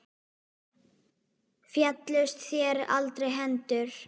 Féllust þér aldrei hendur?